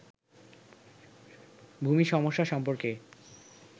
ভূমি সমস্যা সম্পর্কে